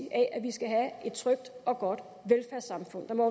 af at vi skal have et trygt og godt velfærdssamfund der må